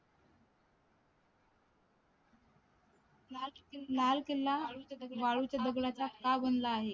लाल किल्ला वाळूच्या दगडाचा का बनला आहे